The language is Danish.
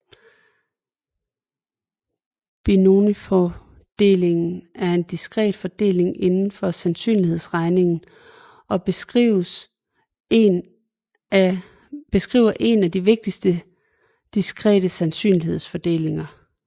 Binomialfordelingen er en diskret fordeling inden for sandsynlighedsregning og beskriver en af de vigtigste diskrete sandsynlighedsfordelinger